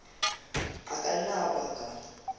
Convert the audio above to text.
a ka nna a baka